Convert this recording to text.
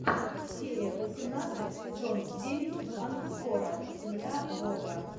серия восемнадцать сезон девять ангкора земля бога